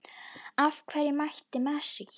Af hverju mætti Messi ekki?